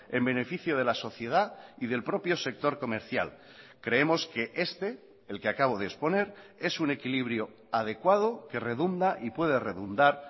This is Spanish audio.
en beneficio de la sociedad y del propio sector comercial creemos que este el que acabo de exponer es un equilibrio adecuado que redunda y puede redundar